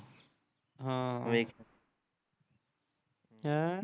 ਹਾਂ ਓਏ ਹੈਂ